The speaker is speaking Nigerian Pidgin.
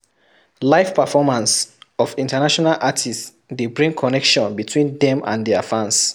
Live performance of International artists de bring connection between them and their fans